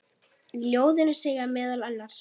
Í ljóðinu segir meðal annars